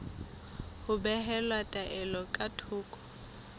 ho behela taelo ka thoko